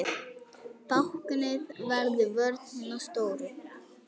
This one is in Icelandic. Báknið verður vörn hinna stóru.